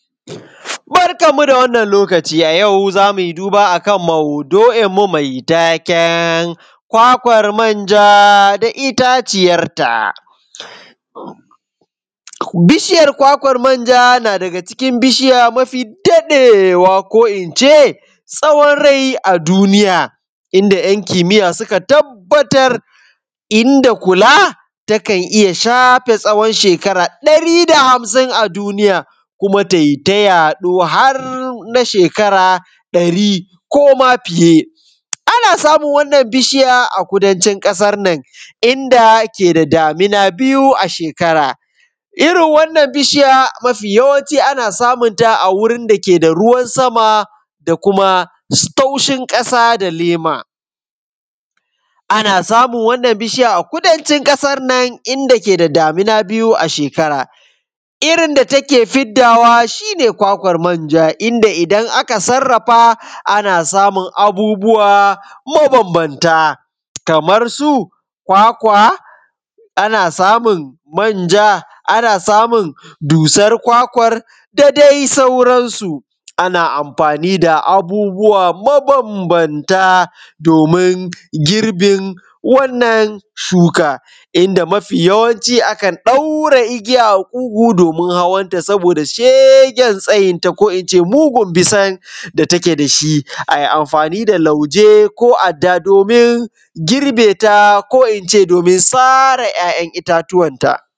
Barkanmu dai da wannan lokaci a yau zamu yi duba a kan maudu’inmu mai taken kwakwar manja da itaciyarta. Bishiyar kwakwan manja na daga cikin bishiya mafi daɗewa ko ince tsawon rai a duniya, inda ‘yan kimiya suka tabbatar inda kula takan iya shafe tsawon shekara ɗari da hamsin a duniya, kuma tai ta yaɗo har na shekara ɗari koma fiye. Ana samun wannan bishiya a kudancin ƙasan nan, inda ke da damina biyu a shekara, irin wannan bishiya yawanci ana samunta a wurin dake da ruwan sama da kuma taushin ƙasa da lema. Ana samun wannan bishiya a kudancin ƙasan nan inda ke da damina biyu a shekara. Irin da take fiddawa shi ne kwakwan manja, inda idan aka sarrafa ana samun abubuwa mabambamta, kamar su kwakwa, ana samun manja, ana samun dusar kwakwan da dai sauransu. Ana amfani da abubuwa mabambamta domin girbin wannan shuka, inda mafi yawanci akan ɗaura igiya a kugu domin hawanta saboda shegen tsayinta ko ince mugun bisan da take dashi. Ai amfani da lauje, ko adda domin girbeta ko ince domin sare ‘ya’yan itatuwanta.